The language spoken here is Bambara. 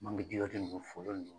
Mangi ji